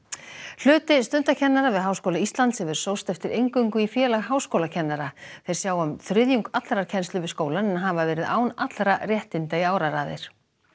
hluti stundakennara við Háskóla Íslands hefur sóst eftir inngöngu í Félag háskólakennara þeir sjá um þriðjung allrar kennslu við skólann en hafa verið án allra réttinda í áraraðir